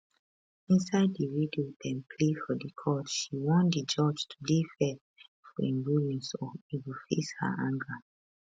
inside di video dem play for di court she warn di judge to dey fair for im rulings or e go face her anger